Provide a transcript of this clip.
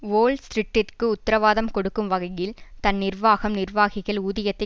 whole ஸ்ட்ரிட்டிற்கு உத்தரவாதம் கொடுக்கும் வகையில் தன் நிர்வாகம் நிர்வாகிகள் ஊதியத்தை